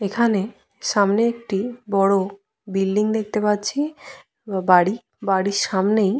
এখানে সামনে একটি বড় বিল্ডিং দেখতে পাচ্ছি বা বাড়ি। বাড়ির সামনেই --